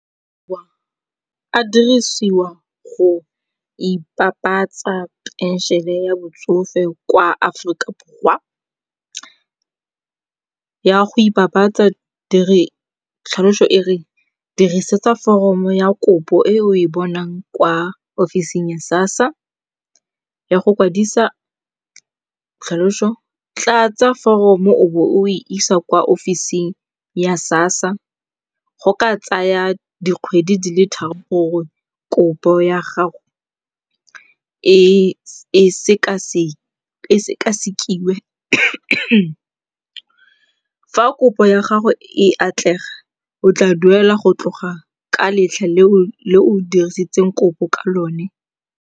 A dirisiwa go ipapatsa phenšene ya botsofe kwa Aforika Borwa. Ya go ipapatsa, tlhaloso e re dirisetsa foromo ya kopo e o e bonang kwa ofising ya sassa ya go kwadisa tlhaloso, tlatsa foromo o bo o e isa kwa ofising ya sassa, go ka tsaya dikgwedi di le tharo gore kopo ya gago e sekasekiwe. Fa kopo ya gago e atlega, o tla duelwa go tloga ka letlha leo o dirileng kopo ka lone.